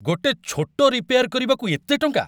ଗୋଟେ ଛୋଟ ରିପେୟାର କରିବାକୁ ଏତେ ଟଙ୍କା?